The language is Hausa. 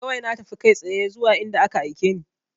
Kawai na tafi kai tsaye zuwa inda ka aike ni